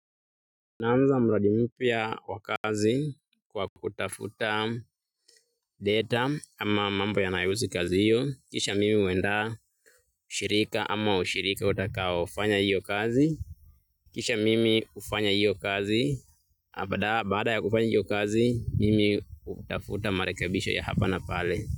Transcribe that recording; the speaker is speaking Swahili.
Naanza mradi mpya wa kazi wa kutafuta data ama mambo yanayohusu kazi hiyo. Kisha mimi huandaa ushirika ama ushirika utakaofanya hiyo kazi. Kisha mimi ufanya hiyo kazi. Na baada ya kufanya hiyo kazi, mimi hutafuta marekebisho ya hapa na pale.